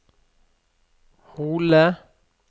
Hole